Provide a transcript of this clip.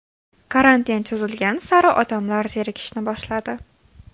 Karantin cho‘zilgani sari odamlar zerikishni boshladi.